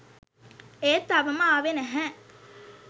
ඒත් තවම ආවේ නැහැ